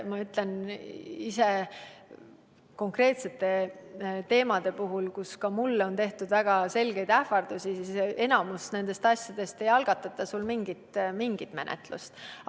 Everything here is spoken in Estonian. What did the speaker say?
Ma tean ise öelda, et konkreetsete teemade puhul, kui ka mulle on tehtud väga selgeid ähvardusi, ei ole enamiku nende asjade korral algatatud mingit menetlust.